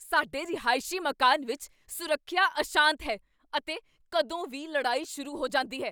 ਸਾਡੇ ਰਿਹਾਇਸ਼ੀ ਮਕਾਨ ਵਿੱਚ ਸੁਰੱਖਿਆ ਅਸ਼ਾਂਤ ਹੈ ਅਤੇ ਕਦੋਂ ਵੀ ਲੜਾਈ ਸ਼ੁਰੂ ਹੋ ਜਾਂਦੀ ਹੈ।